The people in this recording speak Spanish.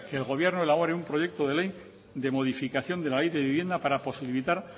que el gobierno elabore un proyecto de ley de modificación de la ley de vivienda para posibilitar